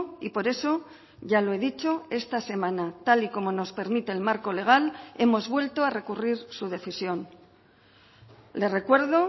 y por eso ya lo he dicho esta semana tal y como nos permite el marco legal hemos vuelto a recurrir su decisión le recuerdo